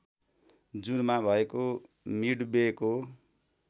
जुनमा भएको मिडवेको